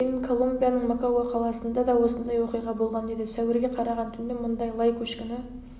дейін колумбияның мокоа қаласында да осындай оқиға болған еді сәуірге қараған түні мұнда лай көшкіні